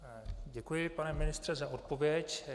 Děkuji, pane ministře, za odpověď.